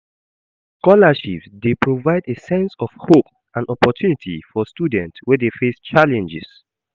Scholarships dey provide a sense of hope and opportunity for students wey dey face challenges.